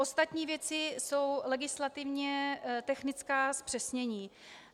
Ostatní věci jsou legislativně technická zpřesnění.